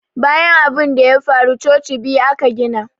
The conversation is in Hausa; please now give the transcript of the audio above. Bayan abinda ya faru coci biyu ka gida.